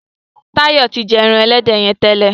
Tayo tí jé èràn elédè yén tẹlẹ.